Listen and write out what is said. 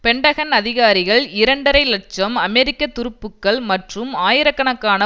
Pentagon அதிகாரிகள் இரண்டரை இலட்சம் அமெரிக்க துருப்புக்கள் மற்றும் ஆயிரக்கணக்கான